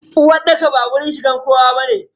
Uwarɗaka ba wajen shigar kowa bane.